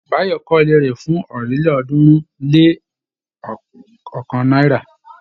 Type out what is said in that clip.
Báyọ̀ kọ́ ilé rẹ̀ fún ọ̀rìnlélọ́ọ̀ọ́dúnrún-lé-ọ̀kan náírà.